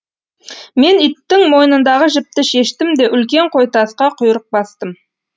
мен иттің мойнындағы жіпті шештім де үлкен қойтасқа құйрық бастым